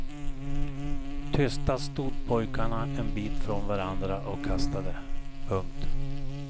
Tysta stod pojkarna en bit från varandra och kastade. punkt